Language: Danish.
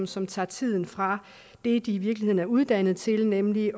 som tager tiden fra det de i virkeligheden er uddannet til nemlig